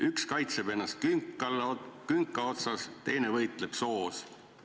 "Üks kaitseb ennast künka otsas, teine võitleb soos.